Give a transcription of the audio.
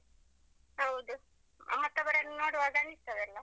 ಹೌದು, ಮತ್ತೊಬ್ಬರನ್ನು ನೋಡುವಾಗ ಅನಿಸ್ತದಲ್ಲ.